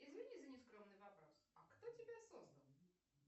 извини за нескромный вопрос а кто тебя создал